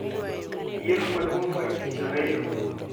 yiero maduong' mar Tich ariyo,